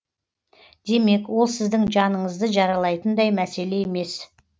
демек ол сіздің жаныңызды жаралайтындай мәселе емес